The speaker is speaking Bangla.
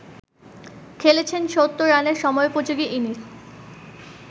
খেলেছেন ৭০ রানের সময়োপযোগী ইনিংস